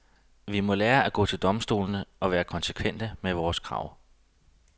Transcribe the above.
Vi må lære at gå til domstolene og være konsekvente i vores krav.